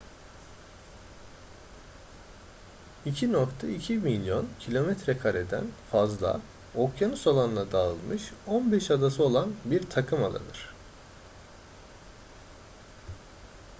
2,2 milyon kilometrekareden fazla okyanus alanına dağılmış 15 adası olan bir takımadadır